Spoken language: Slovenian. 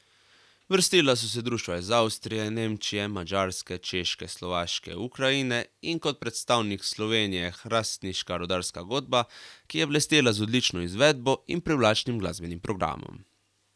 Vrstila so se društva iz Avstrije, Nemčije, Madžarske, Češke, Slovaške, Ukrajine in kot predstavnik Slovenije hrastniška rudarska godba, ki je blestela z odlično izvedbo in privlačnim glasbenim programom.